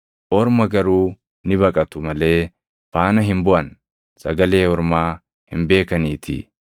Orma garuu ni baqatu malee faana hin buʼan; sagalee ormaa hin beekaniitii.”